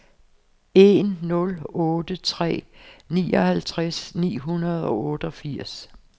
en nul otte tre nioghalvtreds ni hundrede og otteogfirs